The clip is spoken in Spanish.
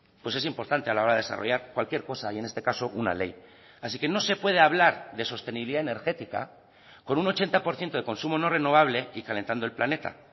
pues es importante a la hora de desarrollar cualquier cosa y en este caso una ley así que no se puede hablar de sostenibilidad energética con un ochenta por ciento de consumo no renovable y calentando el planeta